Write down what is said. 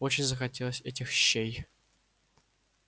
очень захотелось этих щей